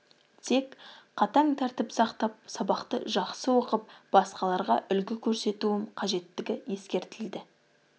тек қатаң тәртіп сақтап сабақты жақсы оқып басқаларға үлгі көрсетуім қажеттігі ескертілді